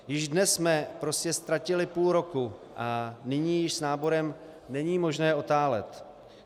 Již dnes jsme prostě ztratili půl roku, a nyní již s náborem není možné otálet.